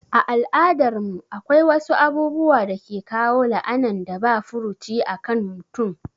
A al'adar mu akwai wasu abubuwa dake kawo la'anan da ba furuci akan mutum